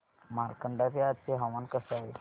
मार्कंडा चे आजचे हवामान कसे आहे